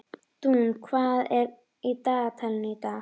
Dúnn, hvað er í dagatalinu í dag?